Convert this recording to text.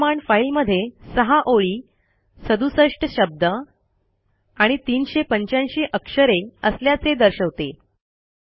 ही command फाईलमध्ये सहा ओळी सदुसष्ट शब्द आणि ३८५ अक्षरे असल्याचे दर्शवते